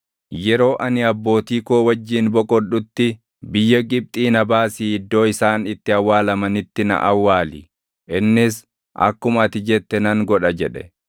yeroo ani abbootii koo wajjin boqodhutti biyya Gibxii na baasii iddoo isaan itti awwaalamanitti na awwaali.” Innis, “Akkuma ati jette nan godha” jedhe.